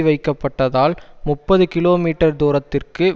வைக்கப்பட்டதால் முப்பது கிலோமீட்டர் தூரத்திற்கு